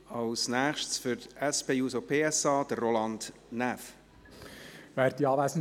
Als Nächstes für die SP-JUSO-PSA-Fraktion: Roland Näf.